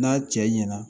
N'a cɛ ɲɛna